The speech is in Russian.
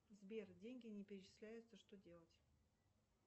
сбер деньги не перечисляются что делать